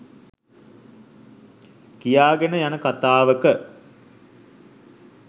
කියාගෙන යන කතාවක